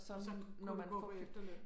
Så kunne du gå på efterløn